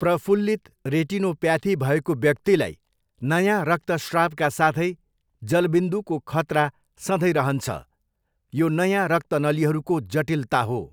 प्रफुल्लित रेटिनोप्याथी भएको व्यक्तिलाई नयाँ रक्तश्रावका साथै जलबिन्दुको खतरा सधैँ रहन्छ। यो नयाँ रक्तनलीहरूको जटिलता हो।